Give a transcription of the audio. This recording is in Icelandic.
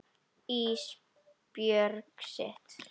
Ísbjörg sitt.